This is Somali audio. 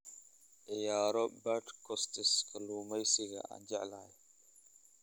ciyaaro podcasts kalluumaysiga aan jeclahay